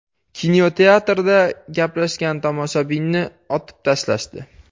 Kinoteatrda gaplashgan tomoshabinni otib tashlashdi.